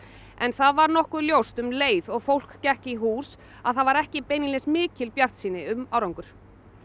en það var nokkuð ljóst um leið og fólk gekk í hús að það var ekki beinlínis mikil bjartsýni um árangur